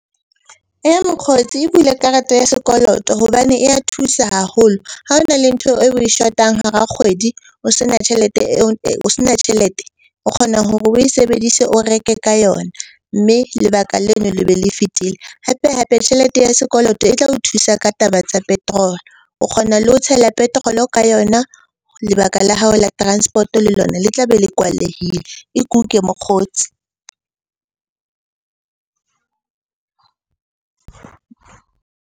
Eya mokgotsi, e bule karata ya sekoloto hobane e ya thusa haholo. Ha o na le ntho eo oe shotang hara kgwedi o se na tjhelete eo, o sena tjhelete. O kgona hore oe sebedise o reke ka yona, mme lebaka leno le be le fetile. Hape-hape tjhelete ya sekoloto e tla o thusa ka taba tsa petrol-o, o kgona le ho tshela petrol-o ka yona. Lebaka la hao la transport-o le lona le tla be le kwalehile. E kuke mokgotsi.